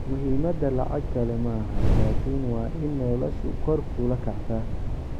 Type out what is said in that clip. Muhimadha lacag kale maaxan lakin waa in noloshu kor kuula kactaaa.